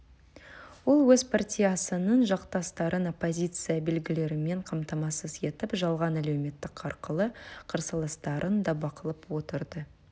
ол өз партиясының жақтастарын оппозиция белгілерімен қамтамасыз етіп жалған әлеуметтік арқылы қарсыластарын да бақылап отырды